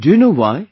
Do you know why